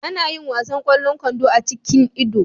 Ana yin wasan ƙwallon kwando a cikin Ido.